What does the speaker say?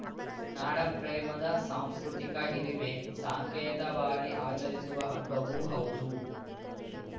ನಾಡಪ್ರೇಮದ ಸಾಂಸ್ಕೃತಿಕ ಹಿರಿಮೆ ಸಾಂಕೇತೇವಾಗಿ ಆಚರಿಸುವ ಹಬ್ಬವೂ ಹೌದು